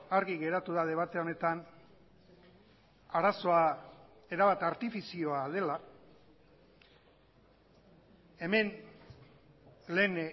argi geratu da debate honetan arazoa erabat artifizioa dela hemen lehen